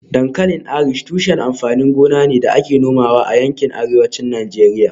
Dankalin Irish tushen amfanin gona ne da ake nomawa a yankin Arewacin Najeriya